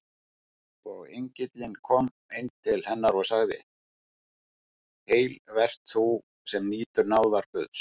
Og engillinn kom inn til hennar og sagði: Heil vert þú, sem nýtur náðar Guðs!